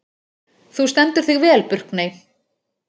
Þú stendur þig vel, Burkney!